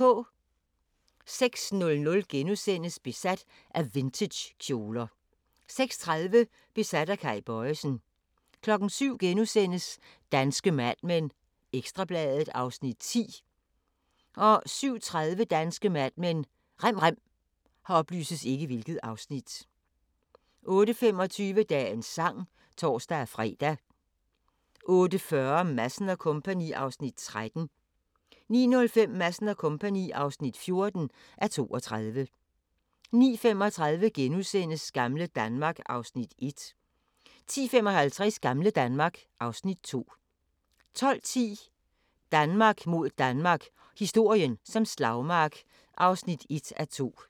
06:00: Besat af vintagekjoler * 06:30: Besat af Kay Bojesen 07:00: Danske Mad Men: Ekstra Bladet (Afs. 10)* 07:30: Danske Mad Men: Rem rem 08:25: Dagens sang (tor-fre) 08:40: Madsen & Co. (13:32) 09:05: Madsen & Co. (14:32) 09:35: Gamle Danmark (Afs. 1)* 10:55: Gamle Danmark (Afs. 2) 12:10: Danmark mod Danmark – historien som slagmark (1:2)